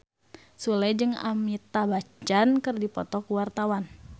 Sule jeung Amitabh Bachchan keur dipoto ku wartawan